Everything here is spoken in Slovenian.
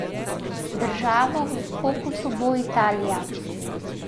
Država v fokusu bo Italija.